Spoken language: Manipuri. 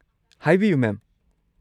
ꯍꯥꯏꯕꯤꯌꯨ, ꯃꯦꯝ꯫